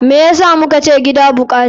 Me yasa mukace gida bukata?